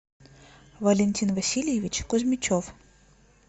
валентин васильевич кузьмичев